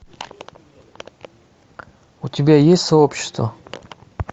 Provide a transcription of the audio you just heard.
у тебя есть сообщество